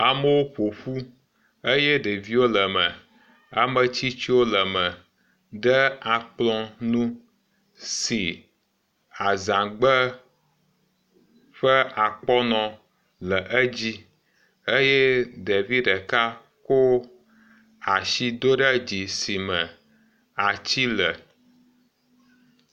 Amewo ƒo ƒu eye ɖeviwo le me, ametsitsiwo le me ɖe akplɔ nu si azãgbe ƒe akɔnɔ le edzi eye ɖevi ɖeka ko asi do ɖe dzi si me ati le.